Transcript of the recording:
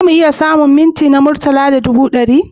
Za mu iya samun mints na murtala na ɗubu ɗari?